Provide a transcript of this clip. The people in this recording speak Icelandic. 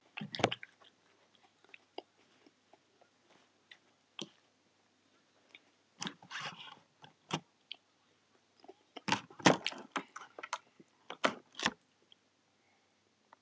Vilmar, Guðný, Guðrún og Þórunn.